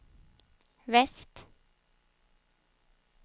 väst